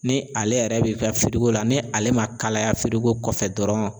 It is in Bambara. Ni ale yɛrɛ bi kɛ la ni ale ma kalaya kɔfɛ dɔrɔn.